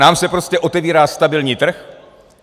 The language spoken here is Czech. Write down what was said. Nám se prostě otevírá stabilní trh.